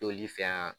T'olu fɛ yan